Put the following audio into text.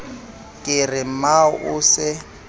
ke re mmao o se